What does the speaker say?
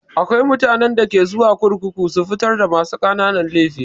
Akwai mutanen da ke zuwa kurkuku su fitar da masu ƙananan laifi.